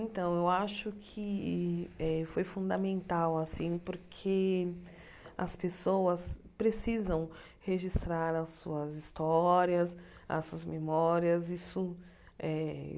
Então, eu acho que eh foi fundamental assim, porque as pessoas precisam registrar as suas histórias, as suas memórias isso eh.